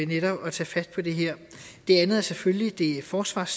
netop tage fat på det her det andet er selvfølgelig det forsvars